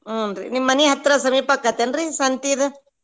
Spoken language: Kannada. ಹೂನ್ರಿ ನಿಮ್ ಮನಿ ಹತ್ರಾ ಸಮೀಪ ಅಕ್ಕತೇನ್ರಿ ಸಂತಿ ಇದು?